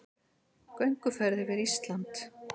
Gönguferð yfir Ísland